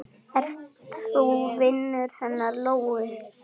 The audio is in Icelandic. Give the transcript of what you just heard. Og þó varð ekkert sannað.